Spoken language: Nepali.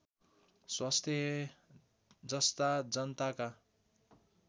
स्वास्थ्य जस्ता जनताका